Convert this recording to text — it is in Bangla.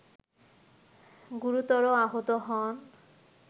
গুরুতর আহত হন